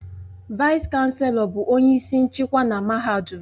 Vaịs-Chanelọ bụ onye isi nchịkwa na mahadum